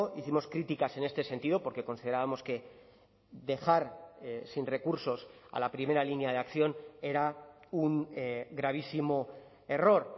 hicimos críticas en este sentido porque considerábamos que dejar sin recursos a la primera línea de acción era un gravísimo error